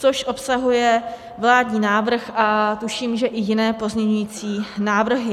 Což obsahuje vládní návrh a tuším, že i jiné pozměňující návrhy.